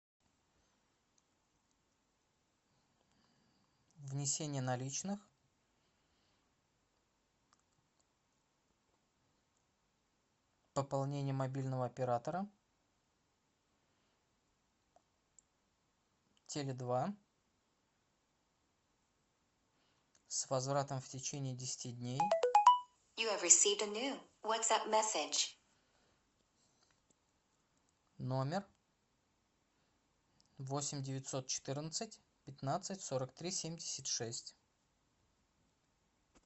внесение наличных пополнение мобильного оператора теле два с возвратом в течении десяти дней номер восемь девятьсот четырнадцать пятнадцать сорок три семьдесят шесть